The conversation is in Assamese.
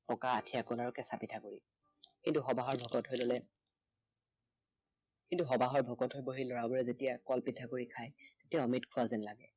পকা আঠিয়া কল আৰু কেঁচা পিঠা গুৰি। কিন্তু সবাহৰ ভকতসকলে কিন্তু সবাহৰ ভকতসকলে, লৰাবোৰে যেতিয়া কল পিঠাগুৰি খায় তেতিয়া অমৃত খোৱা যেন লাগে।